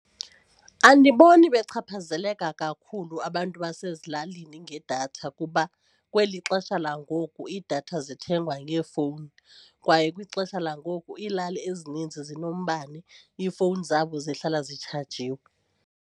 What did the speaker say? Andiboni bechaphazeleka kakhulu abantu basezilalini ngedatha kuba kweli xesha langoku iidatha zithengwa ngeefowuni kwaye kwixesha langoku iilali ezininzi zinombane, iifowuni zabo zihlala zitshajile.